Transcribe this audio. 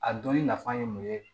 A dɔnni nafa ye mun ye